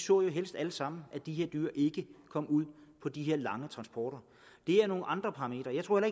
jo helst alle sammen så at de her dyr ikke kom ud på de her lange transporter det er nogle andre parametre jeg tror